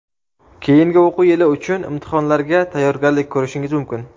keyingi o‘quv yili uchun imtihonlarga tayyorgarlik ko‘rishingiz mumkin.